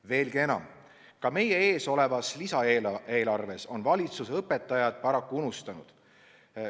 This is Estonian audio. Veelgi enam, ka meie ees olevas lisaeelarves on valitsus õpetajad paraku unustanud.